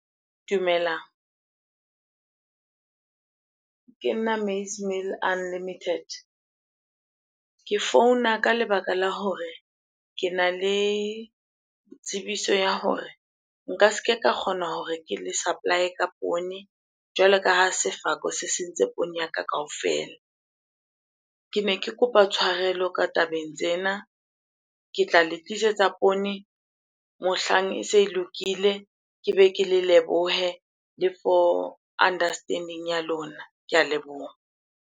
Dumelang, ke nna maize meal unlimited. Ke founa ka lebaka la hore kena le tsebiso ya hore nka ske ka kgona hore ke le supply-e ka poone, jwalo ka ha sefako se sentse poone ya ka kaofela. Kene ke kopa tshwarelo ka tabeng tsena. Ke tla le tlisetsa poone mohlang e se e lokile, ke be ke le lebohe le for understanding ya lona. Ke a leboha.